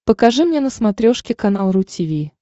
покажи мне на смотрешке канал ру ти ви